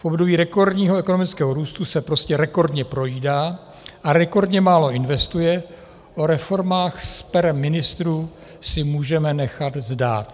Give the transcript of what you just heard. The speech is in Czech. V období rekordního ekonomického růstu se prostě rekordně projídá a rekordně málo investuje, o reformách z pera ministrů si můžeme nechat zdát.